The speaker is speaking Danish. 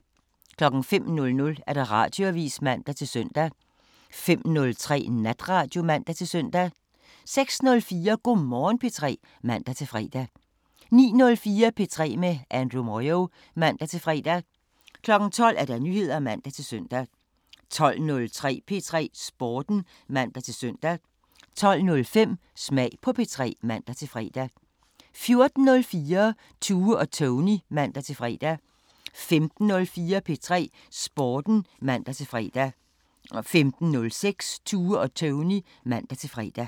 05:00: Radioavisen (man-søn) 05:03: Natradio (man-søn) 06:04: Go' Morgen P3 (man-fre) 09:04: P3 med Andrew Moyo (man-fre) 12:00: Nyheder (man-søn) 12:03: P3 Sporten (man-søn) 12:05: Smag på P3 (man-fre) 14:04: Tue og Tony (man-fre) 15:04: P3 Sporten (man-fre) 15:06: Tue og Tony (man-fre)